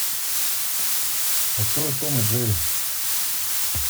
открой том и джерри